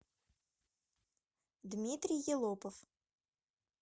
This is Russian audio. дмитрий елопов